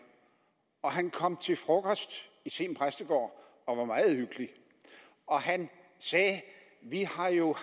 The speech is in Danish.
han kom til frokost i seem præstegård og var meget hyggelig og han sagde vi har jo